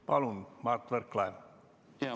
Palun, Mart Võrklaev!